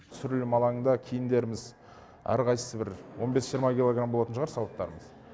түсірілім алаңында киімдеріміз әрқайсысы бір он бес жиырма килограмм болатын шығар сауыттарымыз